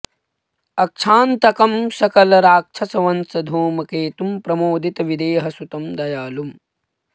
अक्षांतकं सकल राक्षस वंश धूम केतुं प्रमोदित विदेह सुतं दयालुम्